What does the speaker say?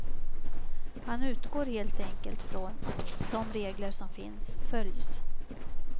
Han utgår helt enkelt från att de regler som finns följs.